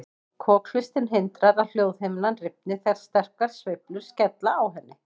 Kokhlustin hindrar að hljóðhimnan rifni þegar sterkar sveiflur skella á henni.